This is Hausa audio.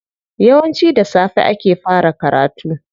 Yawanci da safe ake fara karatu.